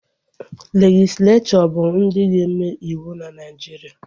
Legislechọ bụ ndị ga-eme ịwụ na Naijiria